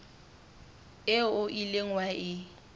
eo o ileng wa e